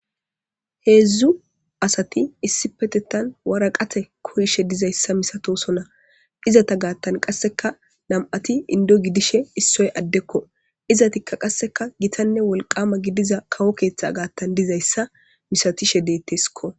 heedzdzu asati issi petetan wara qate koyishe dizayssa misatosona izata gaattan qasseka nam7ati indo gidishe issoy addekko izatikka qasseka gitanne wolqama gidiza kawo keeththe gaattan dizayssa misatishe deetteskko